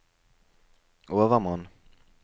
overmann